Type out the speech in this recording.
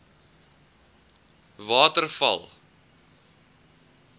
waterval